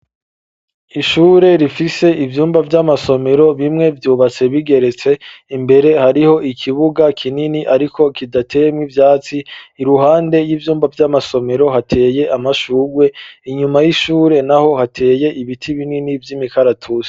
Ishure rifise ivyumba vy'amasomero bimwe vyubatse bigeretse imbere hariho ikibuga kinini ariko kidatemwe ivyatsi iruhande y'ivyumba vy'amasomero hateye amashugwe inyuma y'ishure naho hateye ibiti binini vy'imikaratuze.